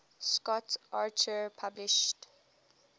scott archer published